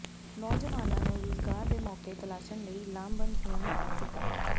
ਨੌਜਵਾਨਾਂ ਨੂੰ ਰੁਜ਼ਗਾਰ ਦੇ ਮੌਕੇ ਤਲਾਸ਼ਣ ਲਈ ਲਾਮਬੰਦ ਹੋਣ ਦਾ ਸੱਦਾ